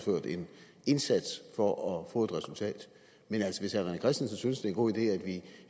indsats for at få et resultat men altså hvis herre rené christensen synes en god idé at vi i